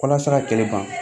Walasa ka kɛlɛ ban